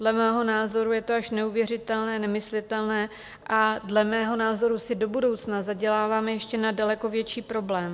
Dle mého názoru je to až neuvěřitelné, nemyslitelné a dle mého názoru si do budoucna zaděláváme ještě na daleko větší problém.